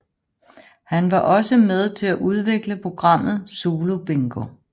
Han var også med til at udvikle programmet Zulu Bingo